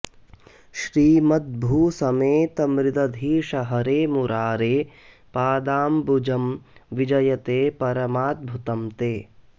श्रीमत्भू समेत मृदधीश हरे मुरारे पादाम्बुजं विजयते परमाद्भुतं ते